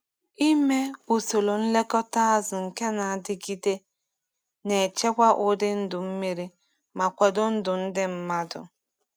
Ime usoro nlekọta azụ nke na-adịgide na-echekwa ụdị ndụ mmiri ma kwado ndụ ndị mmadụ.